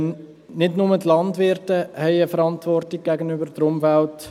Denn nicht nur die Landwirte haben eine Verantwortung gegenüber der Umwelt.